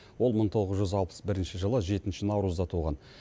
ол мың тоғыз жүз алпыс бірінші жылы жетінші наурызда туған